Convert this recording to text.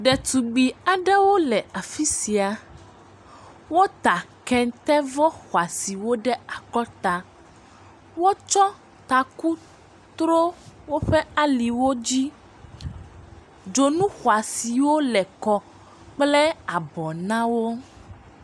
Ɖetugbui aɖewo le afi sia, wota kɛntevɔ xɔasiwo ɖe akɔta, wotsɔ taku tro woƒe aliwo dzi, dzonu xɔasiwo le kɔ kple abɔ na wo.